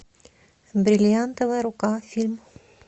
бриллиантовая рука фильм